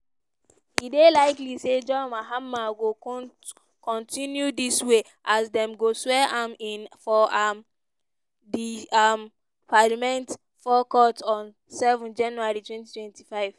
e dey likely say john mahama go kontinu dis way as dem go swear am in for um di um parliament forecourt on seven january twenty twenty five.